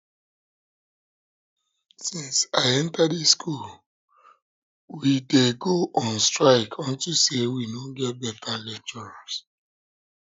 since i enter dis school we dey go on strike unto say we no get beta lecturers